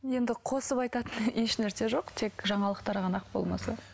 енді қосып айтатын ешнәрсе жоқ тек жаңалықтар ғана ақ болмаса